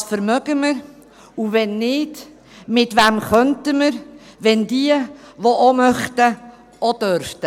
Was vermögen wir und wenn nicht, mit wem könnten wir, wenn diejenigen, die auch mitmachen möchten, auch dürften?